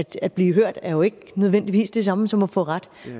at blive hørt er jo ikke nødvendigvis det samme som at få ret